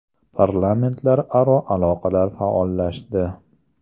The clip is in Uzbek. Parlamentlararo aloqalar faollashdi.